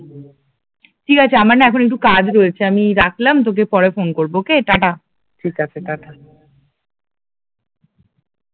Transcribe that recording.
ঠিক আছে আমার না এখন একটু কাজ রয়েছে আমি রাখলাম তোকে পরে ফোন করবো ওকে, টাটা, ঠিক আছে টাটা